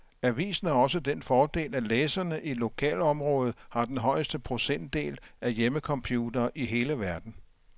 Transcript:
Avisen har også den fordel, at læserne i lokalområdet har den højeste procentdel af hjemmecomputere i hele verden.